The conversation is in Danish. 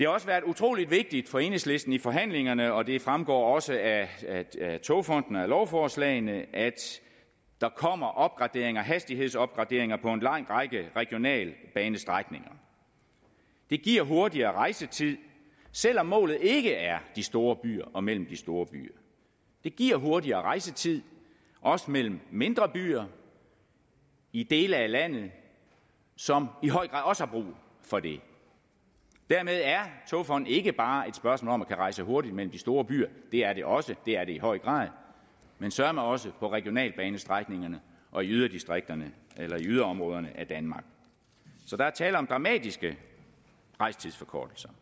også været utrolig vigtigt for enhedslisten i forhandlingerne og det fremgår også af togfonden dk og af lovforslagene at der kommer hastighedsopgraderinger på en lang række regionalbanestrækninger det giver hurtigere rejsetid selv om målet ikke er de store byer og mellem de store byer det giver hurtigere rejsetid også mellem mindre byer i dele af landet som i høj grad også har brug for det dermed er togfonden dk ikke bare et spørgsmål om at kunne rejse hurtigt mellem de store byer det er det også det er det i høj grad men søreme også på regionalbanestrækningerne og i yderdistrikterne yderområderne af danmark så der er tale om dramatiske rejsetidsforkortelser